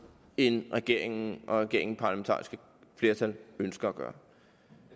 end regeringen og regeringens parlamentariske flertal ønsker at gøre